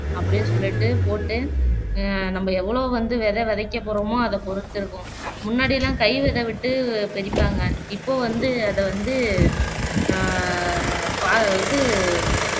அப்படியே சொல்லீட்டு போட்டு அஹ் நம்ப எவ்வளோ வந்து விதை விதைக்க போறோமோ அதை பொருத்து இருக்கும் முன்னாடியெல்லாம் கைவிதை விட்டு இப்போ வந்து அதை வந்து அஹ் பா இது